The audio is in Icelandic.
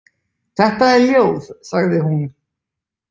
Þetta er ljóð, sagði hún.